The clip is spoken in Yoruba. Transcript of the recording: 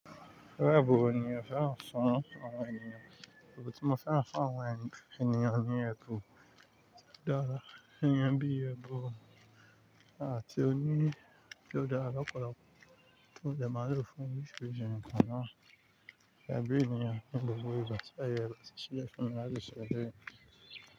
Ẹbụn wo ni oo fẹ́ràn fún àwọn ènìyàn. Èbù tí mo fẹ́ràn fún àwọn ènìyàn ní ẹbún dáadáa. Ẹ̀níyàn bí i ẹbụn àti òní tó dára lopolopo. Ti mo dẹ màa lo fún orisirisi nkàn ná. Gẹ́gẹ́ bí ènìyàn, ní gbogbo ìgbà tí àyè rẹ̀ bá ti ṣíílẹ̀ fún mi láti ṣe eléyìí.